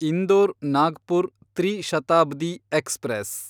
ಇಂದೋರ್ ನಾಗ್ಪುರ್ ತ್ರಿ ಶತಾಬ್ದಿ ಎಕ್ಸ್‌ಪ್ರೆಸ್